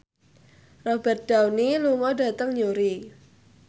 Robert Downey lunga dhateng Newry